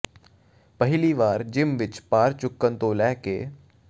ਪਹਿਲੀ ਵਾਰ ਜਿਮ ਵਿਚ ਭਾਰ ਚੁੱਕਣ ਤੋਂ ਲੈ ਕੇ